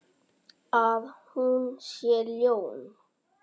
Að hún sé ljón.